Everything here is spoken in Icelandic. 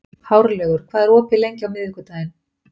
Hárlaugur, hvað er opið lengi á miðvikudaginn?